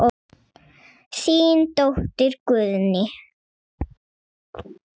Þín dóttir Guðný.